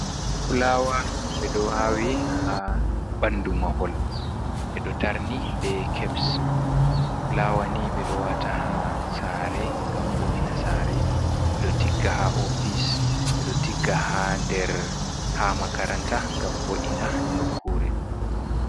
Fulawa be do awi ha bandu mahol be do tarni be keps, fulawa ni be do wata ha sare ngam vo’ina sare be do tigga ha ofise be do tigga der ha makaranta ngam vo’ina nokkure.